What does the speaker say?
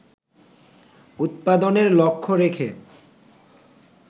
উৎপাদনের লক্ষ্য রেখে